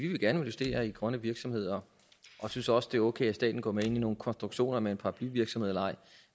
gerne investere i grønne virksomheder og synes også det er okay at staten går med ind i nogle konstruktioner med en paraplyvirksomhed